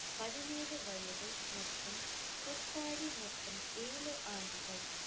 பதினேழு வயது மற்றும் குர்காடி மொத்தம் ஏழு ஆண்டுகள்